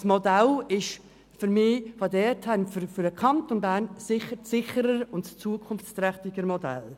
Das gewählte Modell ist aus meiner Sicht in dieser Hinsicht für den Kanton Bern die sicherere und zukunftsträchtigere Variante.